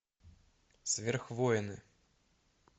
сверхвоины